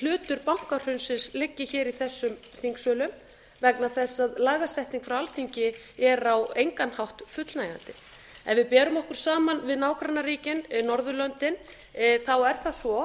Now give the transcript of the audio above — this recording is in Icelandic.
hlutur bankahrunsins liggi hér í þessum þingsölum vegna þess að lagasetning frá alþingi er á engan hátt fullnægjandi ef við berum okkur saman við nágrannaríkin norðurlöndin er það svo